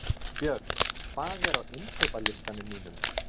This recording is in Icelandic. Björn, hvað er á innkaupalistanum mínum?